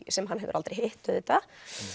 sem hann hefur aldrei hitt auðvitað